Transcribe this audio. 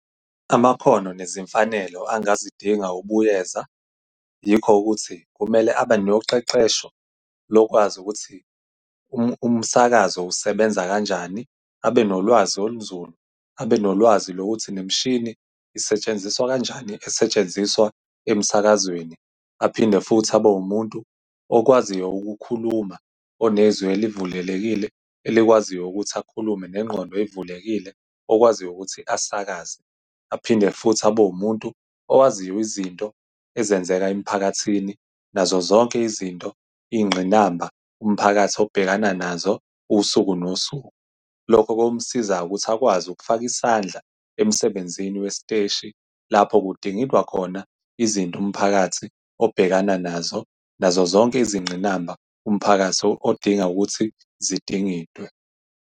Amakhono nezimfanelo angazidinga ubuyeza, yikho ukuthi kumele abe noqeqesho, lokwazi ukuthi umsakazo usebenza kanjani, abe nolwazi olunzulu. Abe nolwazi lokuthi nemishini isetshenziswa kanjani esetshenziswa emsakazweni. Aphinde futhi abe umuntu okwaziyo ukukhuluma, onezwi elivulelekile, elikwaziyo ukuthi akhulume, nengqondo ey'vulekile okwaziyo ukuthi asakaze. Aphinde futhi abe umuntu owaziyo izinto ezenzeka emphakathini, nazo zonke izinto, iy'ngqinamba umphakathi obhekana nazo, usuku nosuku. Lokho kuyomsiza ukuthi akwazi ukufaka isandla emsebenzini wesiteshi, lapho kudingidwa khona izinto umphakathi obhekana nazo, nazo zonke izingqinamba umphakathi odinga ukuthi zidingidwe.